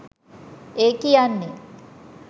ඒ කියන්නේ